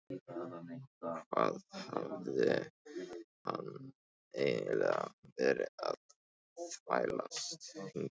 Hvað hafði hann eiginlega verið að þvælast hingað?